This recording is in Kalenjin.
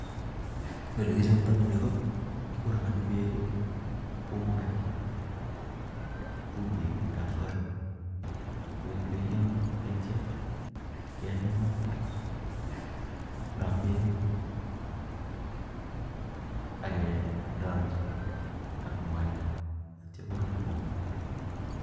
Olekichptai nii KO kigorogani peek (UNGA) chumbiiik ,AK.mwaita angepel. emg ma.si koruryo komnyee